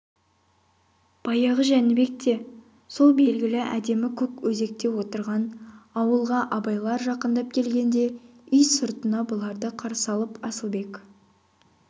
баяғы жәнібекте сол белгілі әдемі көк өзекте отырған ауылға абайлар жақындап келгенде үй сыртына бұларды қарсы алып асылбек